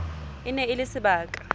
e ne e le sebaka